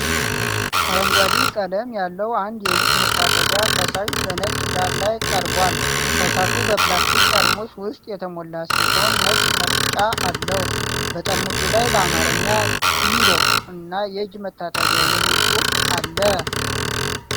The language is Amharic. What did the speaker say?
አረንጓዴ ቀለም ያለው አንድ የእጅ መታጠቢያ ፈሳሽ በነጭ ዳራ ላይ ቀርቧል፡፡ ፈሳሹ በፕላስቲክ ጠርሙስ ውስጥ የተሞላ ሲሆን ነጭ መርጫ አለው፡፡ በጠርሙሱ ላይ በአማርኛ "ዲሮ" እና "የእጅ መታጠቢያ" የሚል ጽሑፍ አለ፡፡